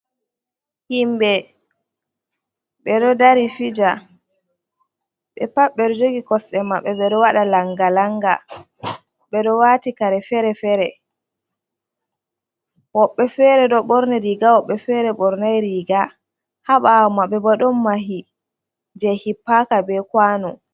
Himɓe ɓe ɗo dari fija, ɓepat ɓe ɗo jogi kosɗe maɓɓe ɓe ɗo waɗa langa-langa, ɓe ɗo wati kare feere-feere, woɓɓe fere ɗo ɓorni riga, woɓɓe fere ɓornai riga. Haa ɓawo maɓɓe bo ɗon mahi je hippaka be kwano.